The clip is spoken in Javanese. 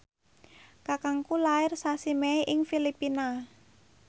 kakangku lair sasi Mei ing Filipina